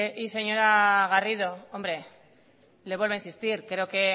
señora garrido hombre le vuelvo a insistir creo que